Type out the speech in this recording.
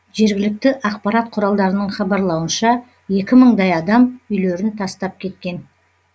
жергілікті ақпарат құралдарының хабарлауынша екі мыңдай адам үйлерін тастап кеткен